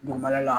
Dugumɛnɛ la